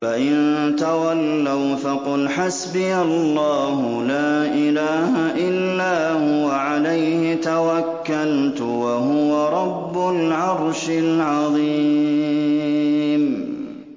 فَإِن تَوَلَّوْا فَقُلْ حَسْبِيَ اللَّهُ لَا إِلَٰهَ إِلَّا هُوَ ۖ عَلَيْهِ تَوَكَّلْتُ ۖ وَهُوَ رَبُّ الْعَرْشِ الْعَظِيمِ